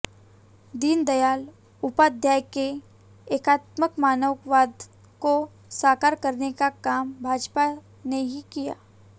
दीनदयाल उपाध्याय के एकात्म मानववाद को साकार करने का काम भाजपा ने ही किया